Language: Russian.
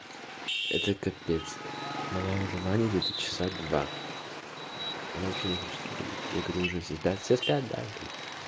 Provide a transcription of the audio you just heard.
это капец малая уже в ванне где-то часа два она вообще не хочет выходить я говорю уже все спят все спят да говорит